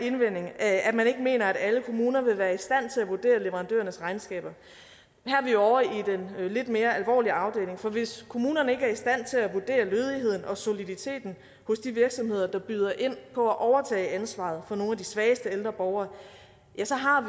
indvending at man ikke mener at alle kommuner vil være i stand til at vurdere leverandørernes regnskaber her er vi ovre i den lidt mere alvorlige afdeling for hvis kommunerne ikke er i stand til at vurdere lødigheden og soliditeten hos de virksomheder der byder ind på at overtage ansvaret for nogle af de svageste ældre borgere så har